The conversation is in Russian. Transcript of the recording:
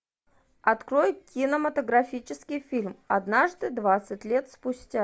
открой кинематографический фильм однажды двадцать лет спустя